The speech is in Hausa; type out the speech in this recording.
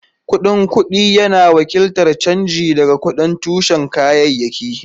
Kuɗin kuɗi yana wakiltar canji daga kuɗin tushen kayayyaki.